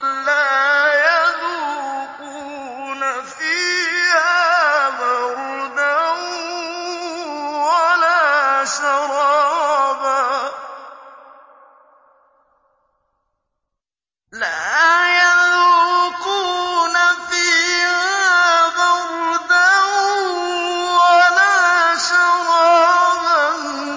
لَّا يَذُوقُونَ فِيهَا بَرْدًا وَلَا شَرَابًا